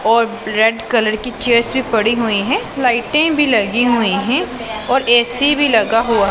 और red colour की chairs भी पड़ी हुई हैं लाइटें भी लगी हुई हैं और ए_सी भी लगा हुआ--